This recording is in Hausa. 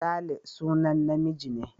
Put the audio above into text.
Sale sunan namiji ne.